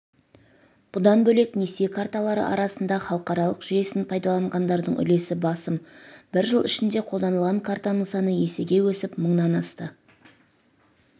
бұдан бөлек несие карталары арасында халықаралық жүйесін пайдаланғандардың үлесі басым бір жыл ішінде қолданылған картасының саны есеге өсіп мыңнан асты